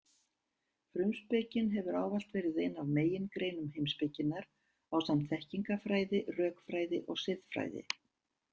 Frumspekin hefur ávallt verið ein af megingreinum heimspekinnar ásamt þekkingarfræði, rökfræði og siðfræði.